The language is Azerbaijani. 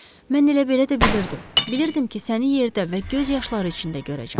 Mən elə belə də bilirdim, bilirdim ki, səni yerdə və göz yaşları içində görəcəm.